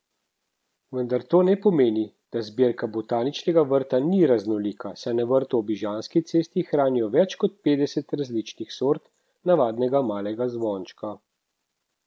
Vendar to ne pomeni, da zbirka Botaničnega vrta ni raznolika, saj na vrtu ob Ižanski cesti hranijo več kot petdeset različnih sort navadnega malega zvončka.